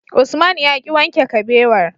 Usman yaki wanke kabewar